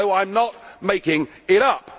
No, I am not making it up.